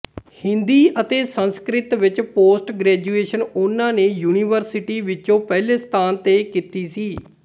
ਹਿੰਦੀ ਅਤੇ ਸੰਸਕ੍ਰਿਤ ਵਿੱਚ post graduation ਉਹਨਾਂ ਨੇ ਯੂਨੀਵਰਸਿਟੀ ਵਿੱਚੋਂ ਪਹਿਲੇ ਸਥਾਨ ਤੇ ਕੀਤੀ ਸੀ